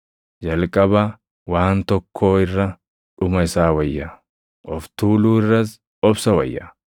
Jalqaba waan tokkoo irra dhuma isaa wayya; of tuuluu irras obsa wayya.